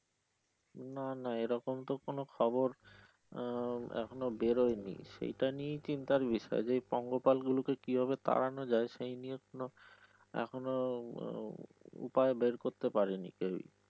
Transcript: না না এরকম তো কোন খবর আহ এখনো বেরনি সেইটা নিয়েই চিন্তার বিষয় যে পঙ্গপাল গুলো কিভাবে তাড়ানো যায় সেই নিয়ে কোন এখনো উম উপায় বের করতে পারেনি কেউই।